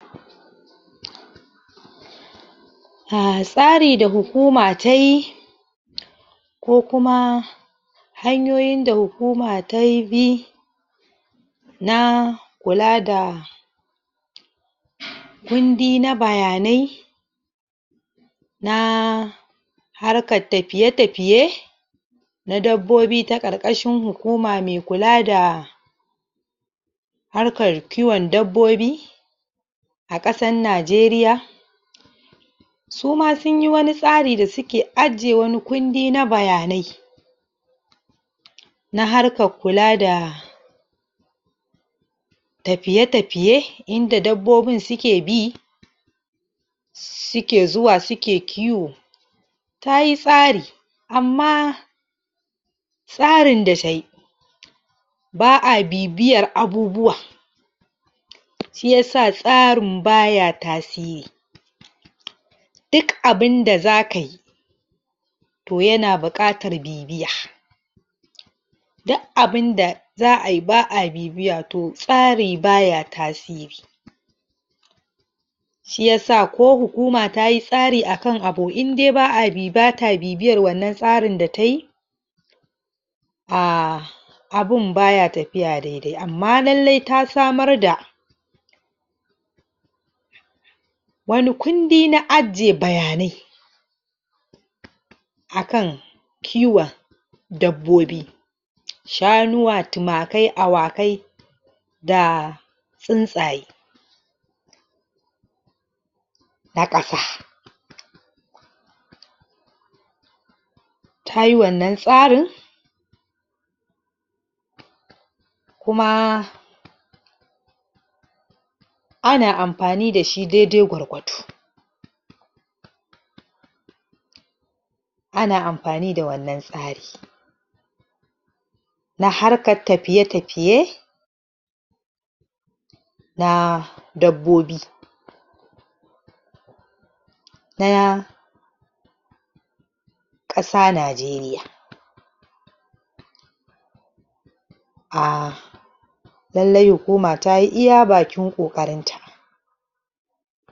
um tsari da hukuma tayi ko kuma hanyoyin da hukuma ta yi bi na kula da kundi na bayanai na harkar tafiye-tafiye na dabbobi ta ƙarƙashin hukuma me kula da harkar kiwon dabbobi a ƙasan Najeriya su ma sunyi wani tsari da suke ajiye wani kundi na bayanai na harkar kula da tafiye-tafiye inda dabbobin suke bi suke zuwa suke kiwo tayi tsari amma tsarin da tayi ba'a bibiyar abubuwa shiyasa tsarin baya tasiri duk abunda zakayi to yana buƙatar bibiya duk abinda za'a yi ba'a bibiya to tsari baya tasiri shiyasa ko hukuma tayi tsari akan abu in dai bata bibiyan wannan tsari da tayi um abun baya tafiya dai-dai amma lallai ta samar da wani kundi na ajiye bayanai akan kiwon dabbobi shanuwa, tumakai, awakai da tsuntsaye ta ƙasa tayi wannan tsarin kuma ana amfani da shi dai-dai gwargwado ana amfani da wannan tsari na harkar tafiye-tafiye na dabbobi ɗaya ƙasa Najeriya um lallai hukuma tayi iya bakin ƙoƙarin ta